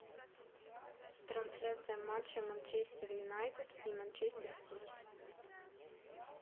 трансляция матча манчестер юнайтед и манчестер сити